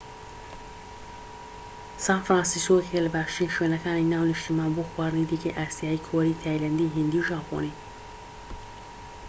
سان فرانسیسکۆ یەکێکە لە باشترین شوێنەکانی ناو نیشتیمان بۆ خواردنی دیکەی ئاسیایی کۆری تایلەندی هیندی و ژاپۆنی